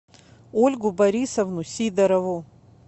ольгу борисовну сидорову